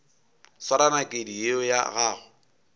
swara nakedi yeo ya gago